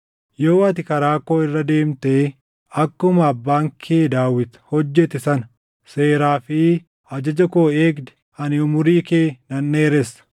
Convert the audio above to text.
Yoo ati karaa koo irra deemtee akkuma abbaan kee Daawit hojjete sana seeraa fi ajaja koo eegde, ani umurii kee nan dheeressa.”